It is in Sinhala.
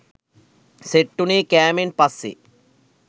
සෙට් වුණේ කෑමෙන් පස්සෙ